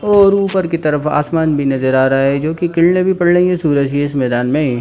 और उपर की तरफ आसमान भी नजर आ रहा है जो की किरणे भी पड़ रही है सूरज की इस मैदान में।